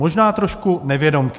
Možná trošku nevědomky.